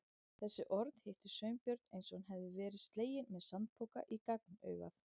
Þessi orð hittu Sveinbjörn eins og hann hefði verið sleginn með sandpoka í gagnaugað.